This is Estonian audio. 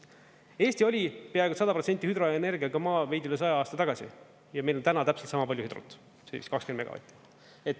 Eesti oli peaaegu 100% hüdroenergiaga maa veidi üle 100 aasta tagasi ja meil on täna täpselt sama palju hüdrot, see on vist 20 megavatti.